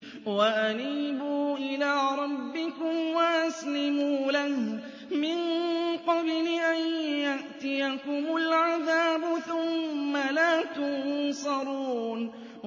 وَأَنِيبُوا إِلَىٰ رَبِّكُمْ وَأَسْلِمُوا لَهُ مِن قَبْلِ أَن يَأْتِيَكُمُ الْعَذَابُ ثُمَّ لَا تُنصَرُونَ